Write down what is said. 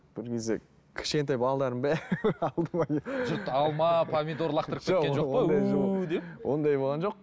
бір кезде кішкентай балалардың бәрі алдыма келіп жұрт алма помидор лақтырып ондай болған жоқ